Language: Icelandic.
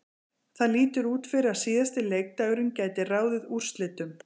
Það lítur út fyrir að síðasti leikdagurinn gæti ráðið úrslitum.